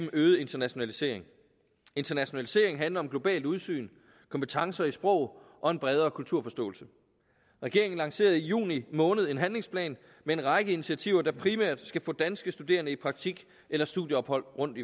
øget internationalisering internationalisering handler om globalt udsyn kompetencer i sprog og en bredere kulturforståelse regeringen lancerede i juni måned en handlingsplan med en række initiativer der primært skal få danske studerende i praktik eller studieophold rundt